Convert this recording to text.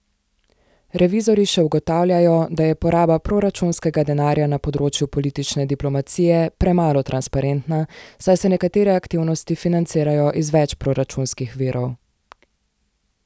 Revizorji še ugotavljajo, da je poraba proračunskega denarja na področju politične diplomacije premalo transparentna, saj se nekatere aktivnosti financirajo iz več proračunskih virov.